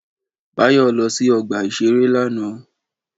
Báyọ̀ lọ sí ọgbà-ìṣeré lánàá